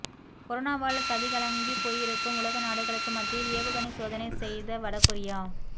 கொரோனாவால் கதிகலங்கி போயிருக்கும் உலகநாடுகளுக்கு மத்தியில் ஏவுகணை சோதனை செய்த வடகொரியா